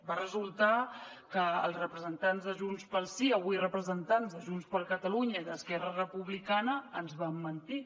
va resultar que els representants de junts pel sí avui representants de junts per catalunya i d’esquerra republicana ens van mentir